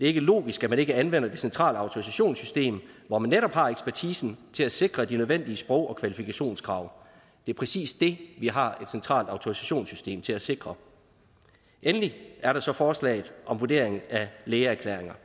ikke logisk at man ikke anvender det centrale autorisationssystem hvor man netop har ekspertisen til at sikre de nødvendige sprog og kvalifikationskrav det er præcis det vi har et centralt autorisationssystem til at sikre endelig er der så forslaget om vurderingen af lægeerklæringer